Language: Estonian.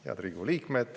Head Riigikogu liikmed!